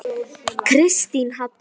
Kristín Halla.